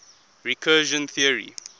recursion theory